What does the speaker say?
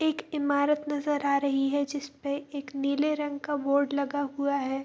एक इमारत नजर आ रही है जिसपे एक नीले रंग का बोर्ड लगा हुआ है।